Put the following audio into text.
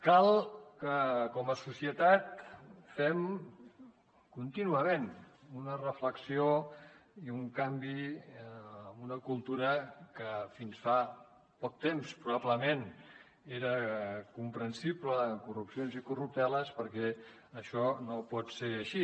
cal que com a societat fem contínuament una reflexió i un canvi en una cultura que fins fa poc temps probablement eren comprensibles corrupcions i corrupteles perquè això no pot ser així